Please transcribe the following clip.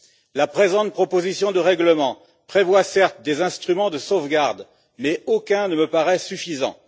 Certes, la présente proposition de règlement prévoit des instruments de sauvegarde, mais aucun ne me paraît suffisant.